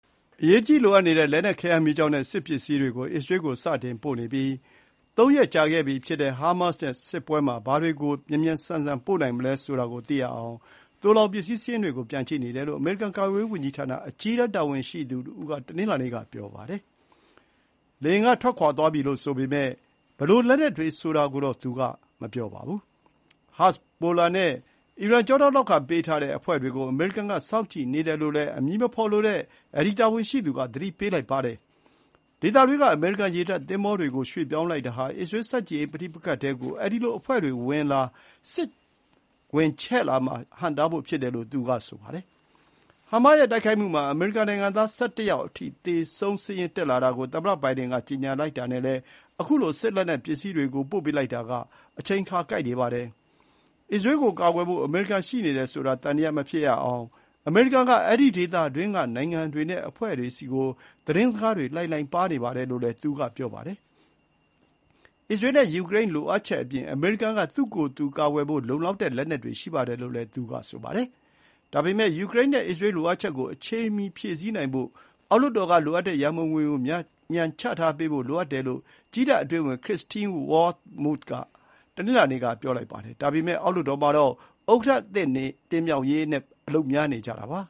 အရေးတကြီးလိုအပ်နေတဲ့ လက်နက်ခဲယမ်းမီးကျောက်နဲ့ စစ်ပစ္စည်းတွေကို အစ္စရေးကို စတင်ပို့နေပြီး သုံးရက်ကြာခဲ့ပြီဖြစ်တဲ့ ဟားမတ်စ်နဲ့ စစ်ပွဲမှာ ဘာတွေကို မြန်မြန်ဆန်ဆန် ပို့နိုင်မလဲဆိုတာကိုသိရအောင် သိုလှောင်ပစ္စည်းစာရင်းတွေကို ပြန်ကြည့်နေတယ်လို့ အမေရိကန်ကာကွယ်ရေးဝန်ကြီးဌာန အကြီးတန်းတာဝန်ရှိသူတဦးက တနင်္လာနေ့က ပြောပါတယ်။ လေယာဥ်တွေက ထွက်ခွါသွားပြီလို့ဆိုပေမဲ့ ဘယ်လို လက်နက်တွေပါသွားတယ်ဆိုတဲ့ အသေးစိတ်ကိုတော့ သူက မပြောပါဘူး။ ဟဇ်ဘိုလာနဲ့အီရန် ကျောထောက်နောက်ခံပေးထားတဲ့အဖွဲ့တွေကို အမေရိကန်က စောင့်ကြည့်နေတယ်လို့လည်း အမည်မဖော်လိုတဲ့တာဝန်ရှိသူက သတိပေးလိုက်ပါတယ်။ ဒေသတွင်းက အမေရိကန် ရေတပ်သင်္ဘောတွေကို ရွှေ့ပြောင်းလိုက်တာဟာ အစ္စရေးဆန့်ကျင်ရေး ပဋိပက္ခထဲကို အဲဒီလို အဖွဲ့တွေဝင်လာ၊ စစ်ချဲ့လာမှာဟန့်တားဖို့ဖြစ်တယ်လို့ သူက ဆိုပါတယ်။ ဟားမတ်စ်ရဲ့တိုက်ခိုက်မှုမှာ အမေရိကန်နိုင်ငံသား ၁၁ ယောက်အထိ သေဆုံးစာရင်းတက်လာတာကို သမ္မတဘိုင်ဒန်က ကြေညာလိုက်တာနဲ့လည်း ခုလို စစ်လက်နက်ပစ္စည်းတွေ ပို့ပေးလိုက်တာက အချိန်အခါ ကိုက်နေပါတယ်။ အစ္စရေးကိုကာကွယ်ဖို့ အမေရိကန် ရှိနေတယ်ဆိုတာ သံသယမဖြစ်ရအောင် အမေရိကန်က အဲဒီဒေသအတွင်းက နိုင်ငံတွေနဲ့ အဖွဲ့တွေဆီကို သတင်းစကားတွေ လှိုင်လှိုင်ပါးနေပါတယ်လို့လည်း သူက ပြောပါတယ်။ အစ္စရေးနဲ့ယူကရိန်းလိုအပ်ချက်အပြင် အမေရိကန်က သူ့ကိုယ်သူကာကွယ်ဖို့ လုံလောက်တဲ့လက်နက်တွေ ရှိပါတယ်လို့လည်း သူက ဆိုပါတယ်။ ဒါပေမဲ့ ယူကရိန်း နဲ့ အစ္စရေးလိုအပ်ချက်ကို အချိန်မီ ဖြည့်ဆည်းနိုင်ဖို့ အောက်လွှတ်တော်က လိုအပ်တဲ့ ရံပုံငွေကို မြန်မြန်ချထားပေးဖို့ လိုအပ်တယ်လို့ ကြည်းတပ် အတွင်းဝန်ခရစ္စတင်း ဝေါမုသ် Christine Wormuth က တနင်္လာ‌နေ့ က ပြောပါတယ်။ ဒါပေမဲ့ အောက်လွှတ်တော်မှာတော့ ဥက္ကဋ္ဌအသစ် တင်မြှောက်ရေးနဲ့ အလုပ်များနေကြတာပါ